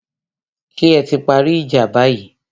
Ṣé ẹ ti parí ìjà báyìí?